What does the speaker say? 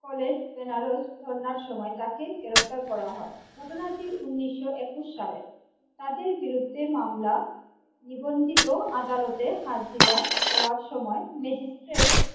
College Benaras ধরনার সময় তাকে গ্রেপ্তার করা হয় ঘটনাটি উনিশশো একুশ সালের তাদের বিরুদ্ধে মামলা নিবন্ধিত আদালতে হাজিরা দেওয়ার সময় ম্যাজিস্ট্রেট।